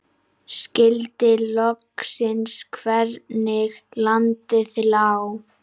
Skildi loks hvernig landið lá.